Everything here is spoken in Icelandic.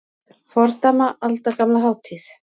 Fordæma aldagamla hátíð